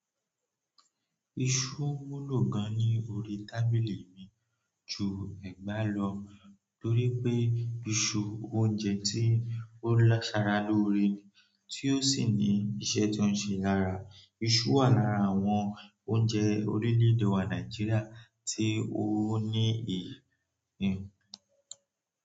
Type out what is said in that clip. Iṣu wúlò gan ní orí tábìlì mi ju ẹ̀gbá lọ torí pé iṣu, oúnjẹ tí ó láṣara lóore ni tí ó sì ní iṣẹ́ tó ń ṣe lára. Iṣu wà lára àwọn oúnjẹ orílẹ̀èdè wá Nàìjíríà tí ó ní èyí n.